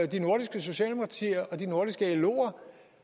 de nordiske socialdemokratier og de nordiske loer